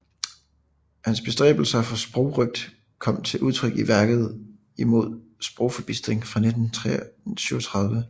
Hans bestræbelser for sprogrøgt kom til udtryk i værket Imod sprogforbistringen fra 1937